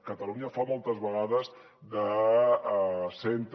catalunya fa moltes vegades de centre